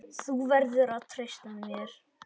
Þú verður að treysta mér